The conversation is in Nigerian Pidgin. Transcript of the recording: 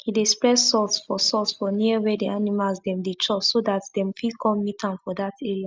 he dey spread salt for salt for near where the animals dem dey chop so dat dem fit con meet am for dat area